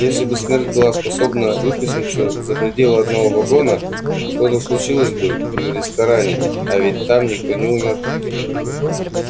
если бы смерть была способна выплеснуться за пределы одного вагона что-то случилось бы и в ресторане а ведь там никто не умер